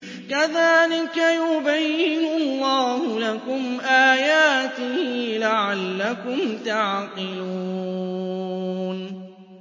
كَذَٰلِكَ يُبَيِّنُ اللَّهُ لَكُمْ آيَاتِهِ لَعَلَّكُمْ تَعْقِلُونَ